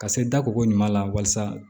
Ka se da koko ɲuman na walasa